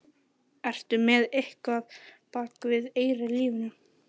Ertu með eitthvað á bak við eyrað í lífinu?